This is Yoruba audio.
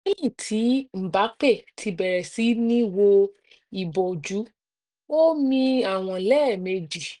lẹ́yìn tí mbappe ti bẹ̀rẹ̀ sí ní wo ìbòjú ó mi àwọn lẹ́ẹ̀ méjì